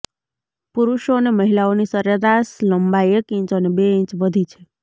પુરુષો અને મહિલાઓની સરેરાશ લંબાઈ એક ઇંચ અને બે ઇંચ વધી છે